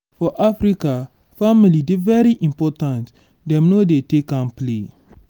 for africa family dey very important dem no dey take am play